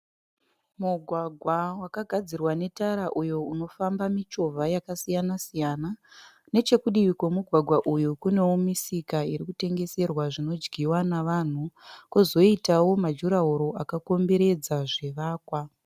Mugwagwa wakagadzirwa netara uyo unofamba michovha yakasiyana -siyana. Nechekudivi kwemugwagwa uyu kunewo misika iri kutengeserwa zvinodyiwa navanhu. Kwozoitawo majurahoro akakomberedza zvivakwa.